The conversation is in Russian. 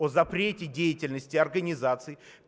о запрете деятельности организаций